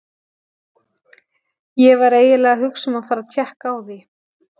Ég var eiginlega að hugsa um að fara að tékka á því.